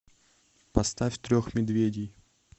поставь трех медведей